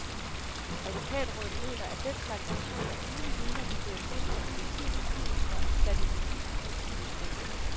Advokatrådet mener, at den slags aktioner uden vidner kan føre til, at politiet beskyldes for at have plantet beviser hos den mistænkte.